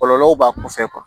Kɔlɔlɔw b'a kɔfɛ